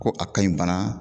Ko a ka ɲi bana